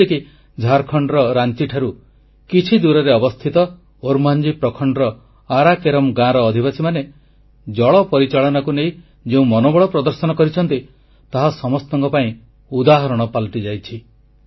ଯେମିତିକି ଝାଡଖଣ୍ଡର ରାଞ୍ଚିଠାରୁ କିଛି ଦୂରରେ ଅବସ୍ଥିତ ଓର୍ମାଂଝି ପ୍ରଖଣ୍ଡର ଆରା କେରମ୍ ଗାଁର ଅଧିବାସୀମାନେ ଜଳ ପରିଚାଳନାକୁ ନେଇ ଯେଉଁ ମନୋବଳ ପ୍ରଦର୍ଶନ କରିଛନ୍ତି ତାହା ସମସ୍ତଙ୍କ ପାଇଁ ଉଦାହରଣ ପାଲଟିଯାଇଛି